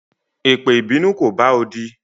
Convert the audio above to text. Epe ìbínú ko bá odi